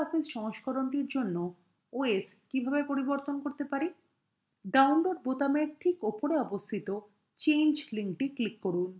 libreoffice সংস্করণটির জন্য os কীভাবে পরিবর্তন করতে পারি download বোতামের ঠিক উপরে অবস্থিত change link click করুন